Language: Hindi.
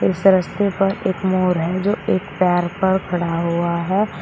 इस रस्ते पर एक मोर है जो एक पैर पर खड़ा हुआ है।